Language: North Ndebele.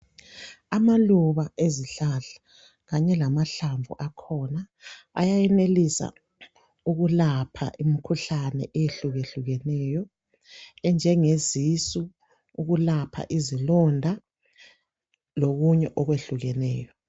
Amaluba ezihlahla kanye lamahlamvu akhona ayayenelisa ukulapha imikhuhlane eyehlukehlukeneyo enjenge zisu, ukulapha izilonda lokunye okuhlukeneyo.